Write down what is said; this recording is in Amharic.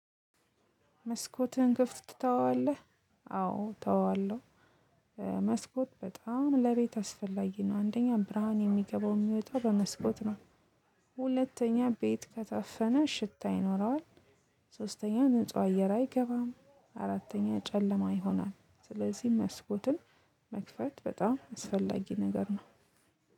መስኮትህን ክፍት ትተዋለህ? አዎ ተዋለሁ። እ መስኮት በጣም ለቤት አስፈላጊ ነው አንደኛ ብርሃን የሚገባው የሚወጣው በመስኮት ነው። ሁለተኛ ቤት ከታፈነ ሽታ ይኖረዋል። ሶስተኛ ንጹህ አየር አይገባም አራተኛ ጨለማ ይሆናል። ስለዚህ መስኮትን መክፈት በጣም አስፈላጊ ነገር ነው።